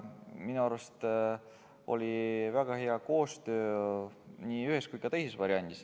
Minu arust oli väga hea koostöö nii ühes kui ka teises variandis.